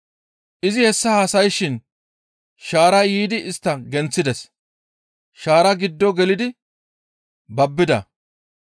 Izi hessa haasayshin shaaray yiidi istta genththides. Shaara giddo gelidi babbida.